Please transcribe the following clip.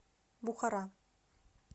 бухара